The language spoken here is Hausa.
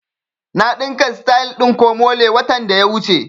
Na ɗinka sityl ɗin komole watan da ya wuce